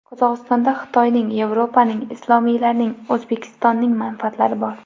Qozog‘istonda Xitoyning, Yevropaning, islomiylarning, O‘zbekistonning manfaatlari bor.